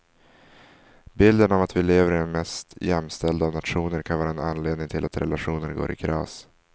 Bilden av att vi lever i den mest jämställda av nationer kan vara en anledning till att relationer går i kras.